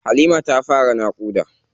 Halima ta fara naƙuda.